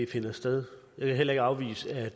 finder sted jeg vil heller ikke afvise at